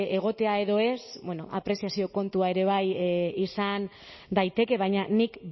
egotea edo ez bueno apreziazio kontua ere bai izan daiteke baina nik